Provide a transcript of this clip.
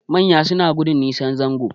Manya suna gudun nisan zango